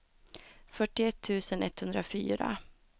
fyrtioett tusen etthundrafyra